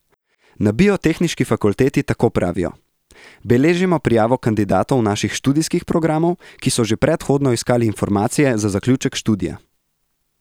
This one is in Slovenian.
Na Biotehniški fakulteti tako pravijo: "Beležimo prijavo kandidatov naših študijskih programov, ki so že predhodno iskali informacije za zaključek študija.